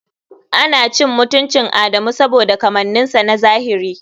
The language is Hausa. Ana cin mutuncin Adamu saboda kamanninsa na zahiri.